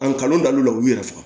An kalan daw la u y'u yɛrɛ faga